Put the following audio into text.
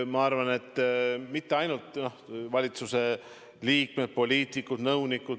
Ma arvan, et mitte ainult valitsuse liikmed, poliitikud, nõunikud.